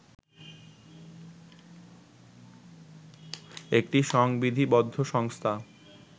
একটি সংবিধিবদ্ধ সংস্থা